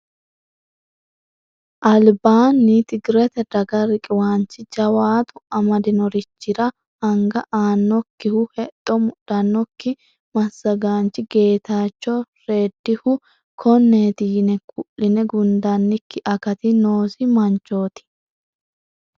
Albaani tigirete daga riqiwanchi jawaatu amadinorichira anga aanokkihu hexxo mudhanokki masagaanchi Getacho redihu koneti yine ku'le gundannikki akati noosi manchoti.